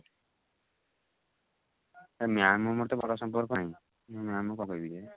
ma'am ଆମର ତ ଭଲ ସମ୍ପର୍କ ନାହିଁ ma'am ଙ୍କୁ କଣ କହିବି ଯେ